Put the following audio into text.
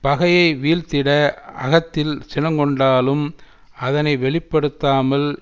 பகையை வீழ்த்திட அகத்தில் சினங்கொண்டாலும் அதனை வெளி படுத்தாமல்